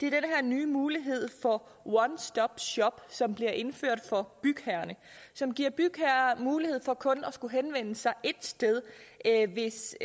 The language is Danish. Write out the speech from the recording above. her nye mulighed for one stop shop som bliver indført for bygherrerne som giver bygherrer mulighed for kun at skulle henvende sig ét sted hvis